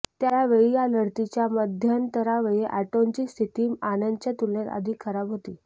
त्यावेळी या लढतीच्या मध्यंतरावेळी अँटोनची स्थिती आनंदच्या तुलनेत अधिक खराब होती